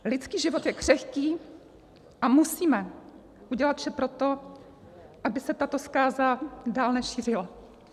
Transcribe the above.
Lidský život je křehký a musíme udělat vše pro to, aby se tato zkáza dál nešířila.